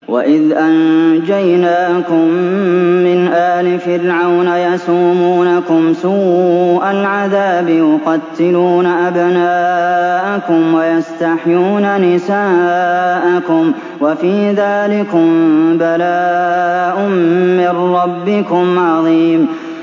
وَإِذْ أَنجَيْنَاكُم مِّنْ آلِ فِرْعَوْنَ يَسُومُونَكُمْ سُوءَ الْعَذَابِ ۖ يُقَتِّلُونَ أَبْنَاءَكُمْ وَيَسْتَحْيُونَ نِسَاءَكُمْ ۚ وَفِي ذَٰلِكُم بَلَاءٌ مِّن رَّبِّكُمْ عَظِيمٌ